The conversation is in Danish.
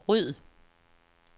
ryd